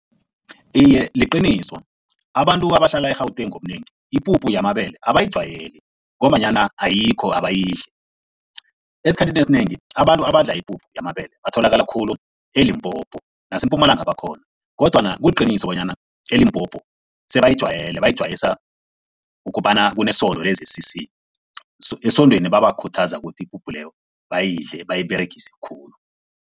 Iye, liqiniso. Abantu abahlala e-Gauteng ngobunengi ipuphu yamabele abayijwayeli ngombanyana ayikho, abayidli. Esikhathini esinengi abantu abadla ipuphu yamabele batholakala khulu eLimpopo nase-Mpumalanga bakhona kodwana kuliqiniso bonyana eLimpopo sebayijwayeli, bayijwayiswa ukobana kunesondo le-Z_C_C so esondweni babakhuthaza ukuthi ipuphu leyo bayidle bayiberegise khulu.